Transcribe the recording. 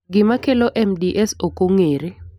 Gima kelo MDS ok ong'ere.